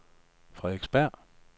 Frederiksberg